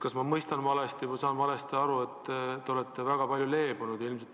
Kas ma oled valesti aru saanud, et te olete väga palju leebunud?